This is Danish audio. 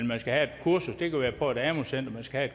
man skal have et kursus det kan være på et amu center man skal